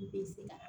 Bɛ se ka